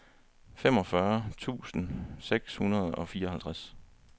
femogfyrre tusind seks hundrede og fireoghalvtreds